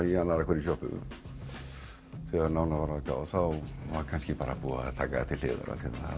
í annarri hverri sjoppu þegar nánar var að gáð þá var kannski búið að taka það til hliðar